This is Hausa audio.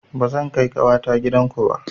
Ba zan kai ƙawata gidan ku ba